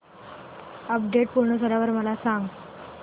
update पूर्ण झाल्यावर मला सांग